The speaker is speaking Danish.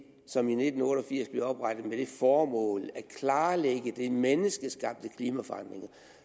som i nitten otte og firs blev oprettet med det formål at klarlægge de menneskeskabte klimaforandringer